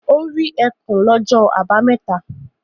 Ó rí ẹkùn lọ́jọ́ àbámẹ́ta?